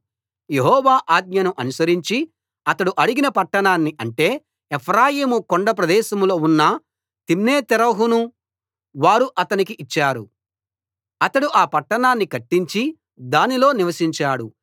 యెహోవా ఆజ్ఞను అనుసరించి అతడు అడిగిన పట్టణాన్ని అంటే ఎఫ్రాయిము కొండ ప్రదేశంలో ఉన్న తిమ్నత్సెరహును వారు అతనికి ఇచ్చారు అతడు ఆ పట్టణాన్ని కట్టించి దానిలో నివసించాడు